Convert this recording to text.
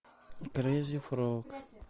крейзи фрог